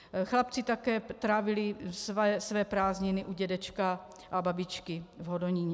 Chlapci také trávili své prázdniny u dědečka a babičky v Hodoníně.